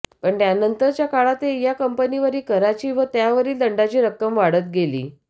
पण त्यानंतरच्या काळातही या कंपनीवरील कराची व त्यावरील दंडाची रक्कम वाढत गेली